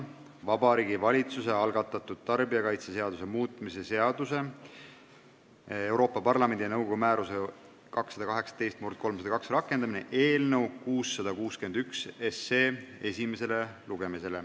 Vabariigi Valitsuse algatatud tarbijakaitseseaduse muutmise seaduse 2018/302 rakendamine) eelnõu 661 esimene lugemine.